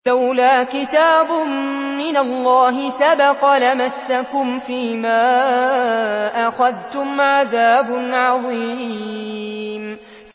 لَّوْلَا كِتَابٌ مِّنَ اللَّهِ سَبَقَ لَمَسَّكُمْ فِيمَا أَخَذْتُمْ عَذَابٌ عَظِيمٌ